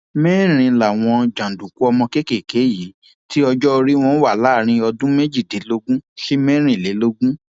mẹrin làwọn jàǹdùkú ọmọ kéékèèké yìí tí ọjọ orí wọn wà láàrin ọdún méjìdínlógún sí mẹrìnlélógún